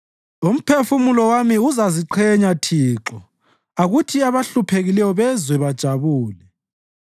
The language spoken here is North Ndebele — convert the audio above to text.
Umphefumulo wami uzaziqhenya Thixo akuthi abahluphekileyo bezwe bajabule.